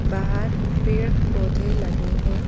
बाहर पेड़-पौधे लगे हैं।